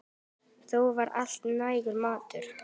Þó var alltaf nægur matur.